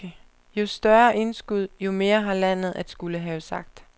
Jo større indskud, jo mere har landet at skulle have sagt.